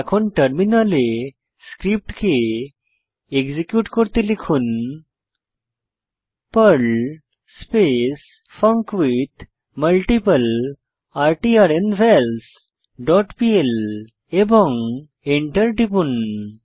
এখন টার্মিনালে পর্ল স্ক্রিপ্টকে এক্সিকিউট করতে লিখুন পার্ল স্পেস ফাঙ্কুইথমাল্টিপ্লার্নভালস ডট পিএল এবং এন্টার টিপুন